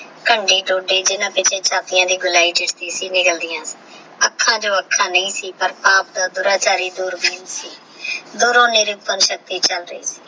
ਕੰਡੇ ਜਿਨਾ ਪਿਛੇ ਚਾਦਿਯਾ ਦੀ ਗੋਲੀ ਦਿਸਦੀ ਸੀ ਓਹ ਜਾਲ੍ਦਿਯਾਂ ਅੱਖਾਂ ਚੋ ਅੱਖਾਂ ਨਹੀ ਸੀ ਪਰ ਪਾਪ ਦਾ ਸੀ ਦੂਰੋ ਸੀ